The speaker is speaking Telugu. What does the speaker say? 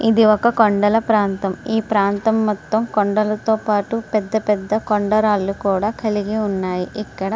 ఇది ఒక కొండల ప్రాంతం ఈ ప్రాంతం మొత్తం కొండలతో పాటు పెద్ద పెద్ద కొండ రాళ్లు కూడా కలిగి ఉన్నాయి ఇక్కడ.